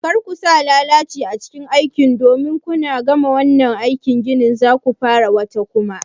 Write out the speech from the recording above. Kar ku sa lalaci a cikin aikin ku domin kuna gama wannan aikin gini zaku fara wata kuma